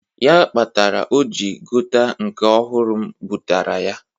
Ya kpatara o jị gota nke ọhụrụ m bụtaara ya.